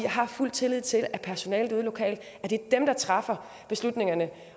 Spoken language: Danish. har fuld tillid til at personalet ude lokalt træffer beslutningerne